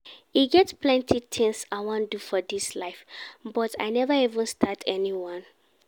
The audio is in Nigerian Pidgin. E get plenty things I wan do for dis life but I never even start anyone